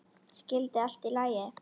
Skyldi allt í lagi?